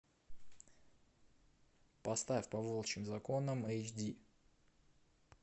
поставь по волчьим законам эйч ди